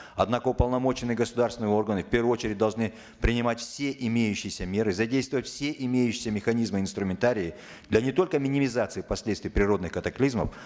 однако уполномоченные государственные органы в первую очередь должны принимать все имеющиеся меры задействовать все имеющиеся механизмы и инструментарии для не только минимизации последствий природных катаклизмов